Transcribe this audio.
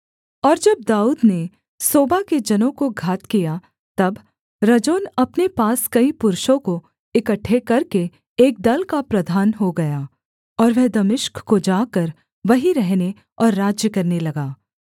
और जब दाऊद ने सोबा के जनों को घात किया तब रजोन अपने पास कई पुरुषों को इकट्ठे करके एक दल का प्रधान हो गया और वह दमिश्क को जाकर वहीं रहने और राज्य करने लगा